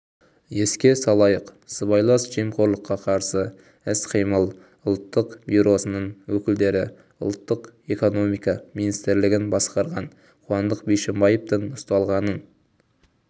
еске салайық сыбайлас жемқорлыққа қарсы іс-қимыл ұлттық бюросының өкілдері ұлттық экономика министрлігін басқарған қуандық бишімбаевтың ұсталғанын